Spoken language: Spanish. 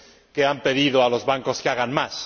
que han pedido a los bancos que hagan más.